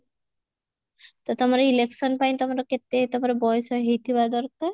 ତ ତମର election ପାଇଁ ତମର କେତେ ତମର ବୟସ ହେଇଥିବା ଦରକାର?